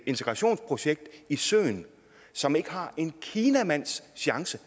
integrationsprojekt i søen som ikke har en kinamands chance